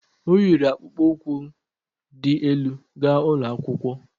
O yiri akpụkpó ukwu di elu ga ụlọ akwụkwọ?